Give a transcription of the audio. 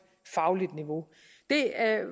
fagligt niveau det